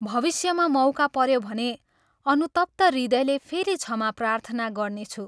भविष्यमा मौका पऱ्यो भने अनुतप्त हृदयले फेरि क्षमा प्रार्थना गर्नेछु।